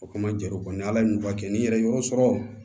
O kama jɔr'o kan ni ala ye n'u ka kɛ ni yɛrɛ ye yɔrɔ sɔrɔ